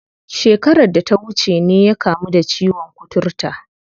Shekarar da ta wuce ne ya kamu da ciwon kuturta.